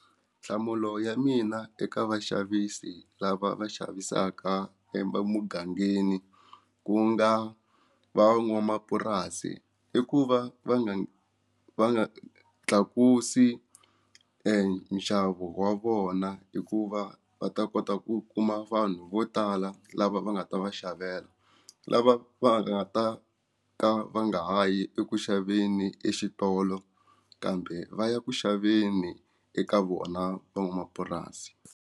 Nhlamulo ya mina eka vaxavisi lava va xavisaka emugangeni ku nga van'wamapurasi i ku va va nga va nga tlakusa hi e nxavo wa vona hikuva va ta kota ku kuma vanhu vo tala lava va nga ta va xavela lava va nga ta ka va nga ha yi eku xaveni exitolo kambe va ya ku xaveni eka vona van'wamapurasi.